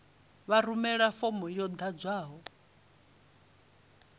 vha rumele fomo yo ḓadzwaho